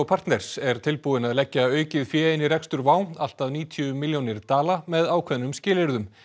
partners er tilbúinn að leggja aukið fé inn í rekstur WOW allt að níutíu milljónir dala með ákveðnum skilyrðum